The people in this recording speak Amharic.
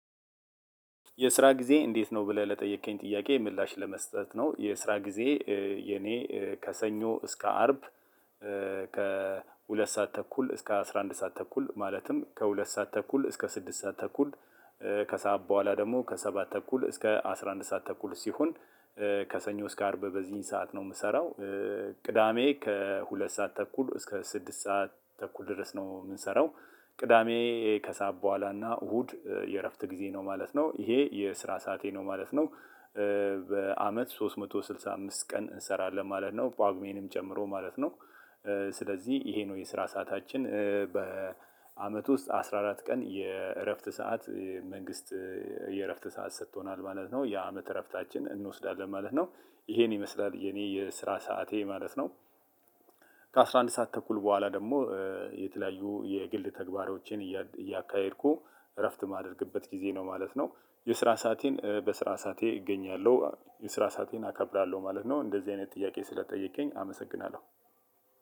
የስራ ጊዜ እንዴት ነው ብለህ ለጠየከኝ ጥያቄ ምላሽ ለመስጠት ነው የስራ ጊዜ የኔ ከሰኞ እስከ አርብ። ከሁለት ሰዓት ተኩል እስከ አስራ አንድ ሰዓት ተኩል ማለትም ከሁለት ሰዓት ተኩል እስከ ስድስት ሰዓት ተኩል ከሰአት በኋላ ደግሞ ከሰባት ተኩል እስከ አስራ አንድ ሰዓት ተኩል ሲሆን። ከሰኞ እስከ አርብ በዚህን ሰዓት ነው የምሰራው። ቅዳሜ ከሁለት ሰዓት ተኩል እስከ ስድስት ሰዓት ተኩል ድረስ ነው የምንሰራው። ቅዳሜ ከሰአት በኋላና እሁድ የእረፍት ጊዜ ነው ማለት ነው ይሄ የስራ ሰዓቴ ነው ማለት ነው። በአመት ሶስት መቶ ስድሳ አምስት ቀን እንሰራለን ማለት ነው ጳጉሜንም ጨምሮ ማለት ነው። ስለዚህ ይሄ ነው የስራ ሰዓታችን በአመት ውስጥ አስራ አራት ቀን የእረፍት ሰዓት መንግስት። የእረፍት ሰዓት ሰጥቶናል ማለት ነው የአመት እረፍታችን እንወስዳለን ማለት ነው ይሄን ይመስላል የኔ የስራ ሰዓቴ ማለት ነው። ከአስራ አንድ ሰዓት ተኩል በኋላ ደግሞ የተለያዩ የግል ተግባሮቼን እያካሄድኩ እረፍት የማደርግበት ጊዜ ነው ማለት ነው። የስራ ሰአቴን በስራ ሰዓቴ እገኛለሁ የስራ ሰአቴን አከብራለሁ ማለት ነው እንደዚህ አይነት ጥያቄ ስለተጠየቀኝ አመሰግናለሁ።